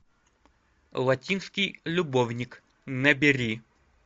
латинский любовник набери